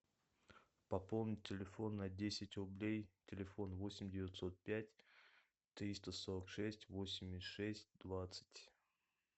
пополнить телефон на десять рублей телефон восемь девятьсот пять триста сорок шесть восемьдесят шесть двадцать